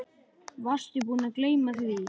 Varstu búinn að gleyma því?